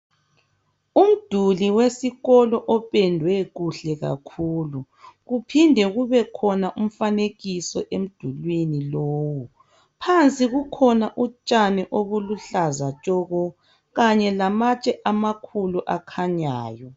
Umduli wesikolo opendwe kuhle kakhulu kuphinde kubekhona umfanekiso emdulwini lowu phansi kukhona utshani obuluhlaza tshoko kanye lamatshe amakhulu akhanyayo.